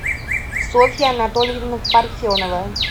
софья анатольевна парфенова